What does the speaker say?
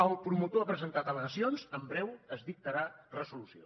el promotor ha presentat al·legacions en breu es dictarà resolució